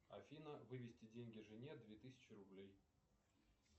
афина вывести деньги жене две тысячи рублей